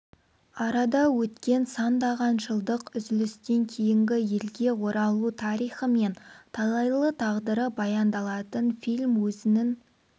арада өткен сандаған жылдық үзілістен кейінгі елге оралу тарихы мен талайлы тағдыры баяндалатын фильм өзінің